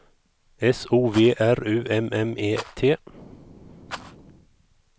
S O V R U M M E T